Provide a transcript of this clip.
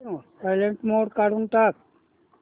silent mode काढून टाक